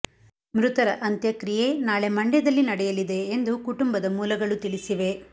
ಮೃತರ ಅಂತ್ಯಕ್ರಿಯೆ ನಾಳೆ ಮಂಡ್ಯದಲ್ಲಿ ನಡೆಯಲಿದೆ ಎಂದು ಕುಟುಂಬದ ಮೂಲಗಳು ತಿಳಿಸಿವೆ